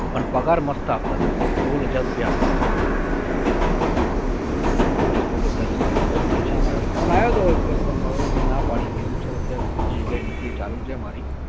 પણ પગાર મસ્ત આપતા હતા મને સોળ હજાર રૂપિયા આપતા હતા. હા સોળ હજાર રૂપિયા અત્યારે, પૈસા માટે phone આવ્યો હતો એક વખત પણ મે ના પડી. મે કીધું sir અત્યારે તો બીજી જગ્યાએ નૌકરી ચાલુ છે મારી